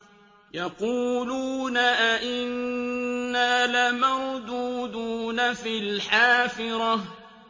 يَقُولُونَ أَإِنَّا لَمَرْدُودُونَ فِي الْحَافِرَةِ